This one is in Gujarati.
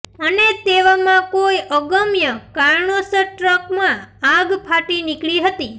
અને તેવામાં કોઈ અગમ્ય કારણોસર ટ્રકમાં આગ ફાટી નીકળી હતી